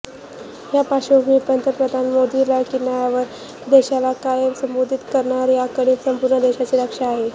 यापार्श्वभूमीवर पंतप्रधान मोदी लाल किल्ल्यावर देशाला काय संबोधित करणार याकडे संपूर्ण देशाचं लक्ष असेल